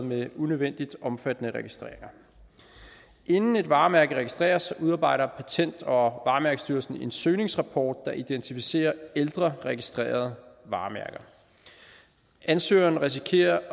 med unødvendigt omfattende registreringer inden et varemærke registreres udarbejder patent og varemærkestyrelsen en søgningsrapport der identificerer ældre registrerede varemærker ansøgeren risikerer at